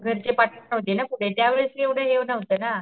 घरचे पाठवत नव्हतेना पुढे या वेळेस एव्हडं हे नव्हतं ना.